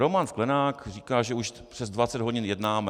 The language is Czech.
Roman Sklenák říká, že už přes 20 hodin jednáme.